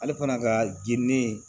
Ale fana ka girin